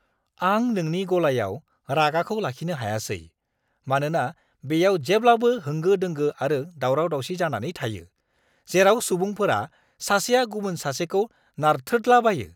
आं नोंनि गलायाव रागाखौ लाखिनो हायासै, मानोना बेयाव जेब्लाबो होंगो-दोंगो आरो दावराव-दावसि जानानै थायो, जेराव सुबुंफोरा सासेया गुबुन सासेखौ नारथ्रोदलाबायो!